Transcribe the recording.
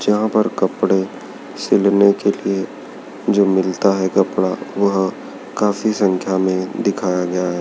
जहां पर कपड़े सिलने के लिए जो मिलता है कपड़ा वह काफी संख्या में दिखाया गया है।